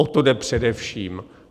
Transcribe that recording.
O to jde především.